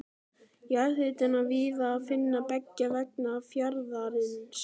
Jarðhita er víða að finna beggja vegna fjarðarins.